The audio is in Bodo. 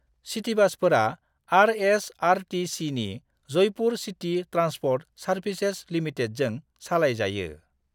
सिटीबासफोरा आर.एस.आर.टी.सी.नि जयपुर सिटी ट्रान्सपर्ट सार्भिसेज लिमिटेडजों सालायजायो।